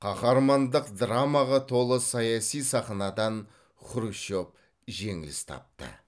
қаһармандық драмаға толы саяси сахнадан хрущев жеңіліс тапты